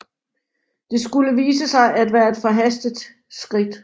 Det skulle vise sig at være et forhastet skridt